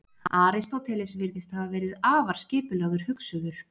Aristóteles virðist hafa verið afar skipulagður hugsuður.